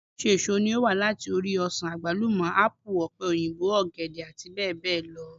Oríṣiríṣi èso ní ó wà láti ori: ọsàn, àgbálúmọ, ápù, ọ̀pẹ òyìnbó, ọ̀gẹ̀dẹ̀ àti bẹ́ẹ̀ bẹ́ẹ̀ lọ